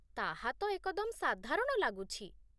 ତାହାତ ଏକଦମ ସାଧାରଣ ଲାଗୁଛି